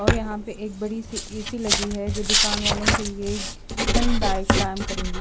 और यहां पे एक बड़ी सी ए_सी लगी है जो दुकानवालों के लिए ठंडदायक काम करेंगी।